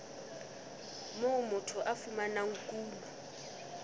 moo motho a fumanang kuno